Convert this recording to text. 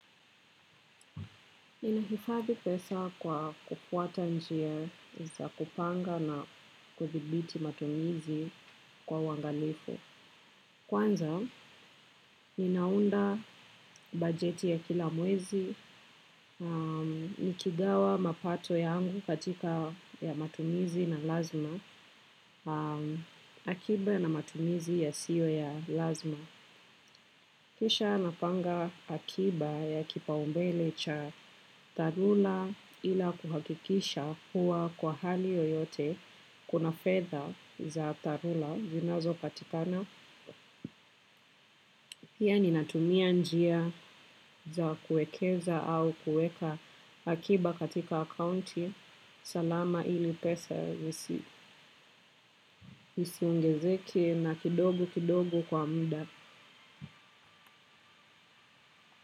Ninahifadhi pesa kwa kufuata njia za kupanga na kudhibiti matumizi kwa uwangalifu. Kwanza, ninaunda bajeti ya kila mwezi, nikigawa mapato yangu katika ya matumizi na lazima, akiba na matumizi ya siyo ya lazima. Kisha napanga akiba ya kipaumbele cha dharura ila kuhakikisha kuwa kwa hali yoyote kuna fedha za dharura zinazo patikana. Pia ni natumia njia za kuwekeza au kuweka akiba katika akaunti. Salama ili pesa isi ongezeke na kidogo kidogo kwa mda.